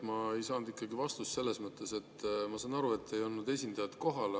Ma ei saanud vastust selles mõttes, et ma saan aru, et ei olnud esindajat kohal.